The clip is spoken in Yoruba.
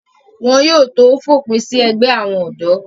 wọn yóò tó fòpin sí ẹgbẹ́ àwọn ọ̀dọ́